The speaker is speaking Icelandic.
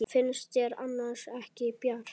Finnst þér annars ekki bjart?